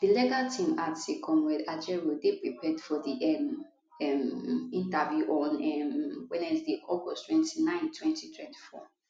di legal team add say comrade ajaero dey prepared for di um um interview on um wednesday august 29 2024